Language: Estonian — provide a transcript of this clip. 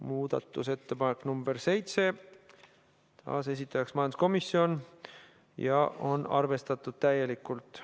Muudatusettepanek nr 7, taas esitajaks majanduskomisjon ja on arvestatud täielikult.